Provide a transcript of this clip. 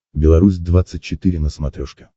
беларусь двадцать четыре на смотрешке